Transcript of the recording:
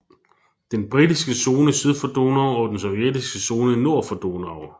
Den britiske zone syd for Donau og den sovjetiske zone nord for Donau